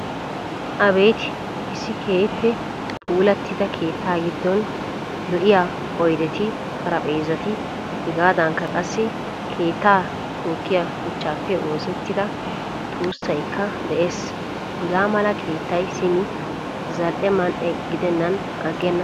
Abeeti issi keehin puulatida keettaa giddon lo'iyaa oydeti, xaraphphezzati hegaadankka qassi keetta tookiya shuchchappe oosettida tuusaykka de'ees. Hagaa mala keettaay simi zal'e man'e gidenan aggena.